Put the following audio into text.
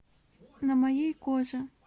на моей коже